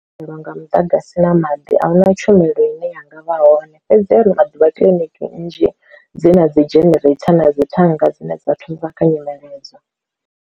Lelwa nga muḓagasi na maḓi a huna tshumelo ine yanga vha hone, fhedzi ha ano maḓuvha kiḽiniki nnzhi dzi na dzi genereitha na dzithanga dzine dza thusa kha nyimele edzo.